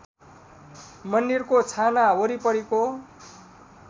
मन्दिरको छाना वरिपरिको